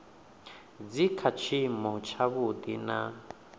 dzi kha tshiimo tshavhuḓi na